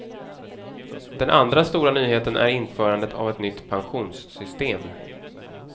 Den andra stora nyheten är införandet av ett nytt pensionssystem.